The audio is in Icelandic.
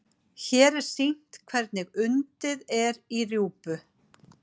Hér er sýnt hvernig undið er í rjúpu.